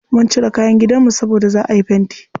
Mun cire kayan gidanmu saboda za'a yi fenti.